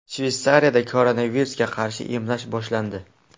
Shveysariyada koronavirusga qarshi emlash boshlandi.